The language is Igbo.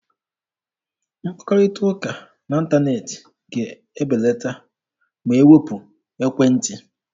Mkpakọrịta n'ịntaneetị ga-ebelata ma e wepụ ekwentị.